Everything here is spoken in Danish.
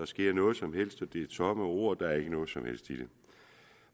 sker noget som helst det er tomme ord og der er ikke noget som helst i det